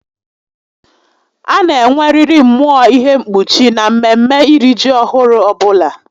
A na enweririi mmụọ ihe mkpuchi na mmeme iri ji ọhụrụ ọbula